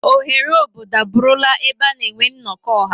Oghere obodo abụrụla ebe a na-enwe nnọkọ ọha.